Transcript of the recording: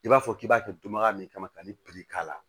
I b'a fɔ k'i b'a to dun ka min kama ka nin k'a la